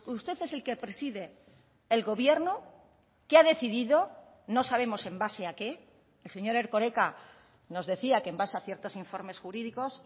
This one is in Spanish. usted es el que preside el gobierno que ha decidido no sabemos en base a qué el señor erkoreka nos decía que en base a ciertos informes jurídicos